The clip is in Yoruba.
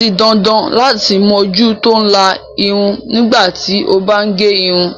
O di dandan lati moju to ila irun nigba ti a ba n ge irun